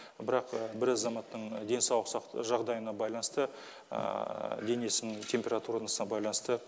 бірақ бір азаматтың денсаулық жағдайына байланысты денесінің температурасына байланысты